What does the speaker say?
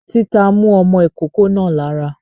Tìta mú ọmọ ìkókó náà lára.